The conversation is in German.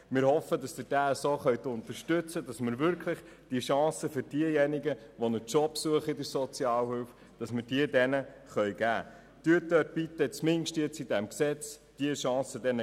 Wir hoffen, dass Sie diesen unterstützen, damit wir den stellensuchenden Sozialhilfebeziehenden die Chance auf eine Arbeit geben können.